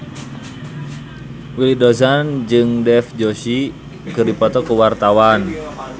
Willy Dozan jeung Dev Joshi keur dipoto ku wartawan